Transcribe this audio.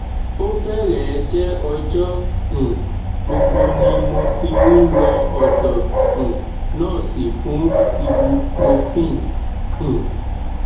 ó fẹrẹẹ jẹ ọjọ um gbogbo ni mo fi ń lọ ọdọ um nọọsì fún ibuprofen um